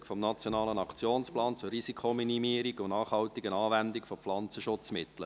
«Umsetzung des Nationalen Aktionsplans zur Risikominimierung und nachhaltigen Anwendung von Pflanzenschutzmitteln».